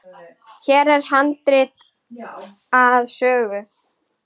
Hér er handrit að sögu.